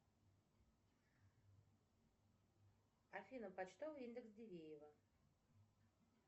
афина почтовый индекс дивеево